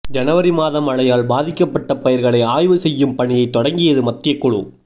ஜனவரி மாத மழையால் பாதிக்கப்பட்ட பயிர்களை ஆய்வு செய்யும் பணியை தொடங்கியது மத்திய குழு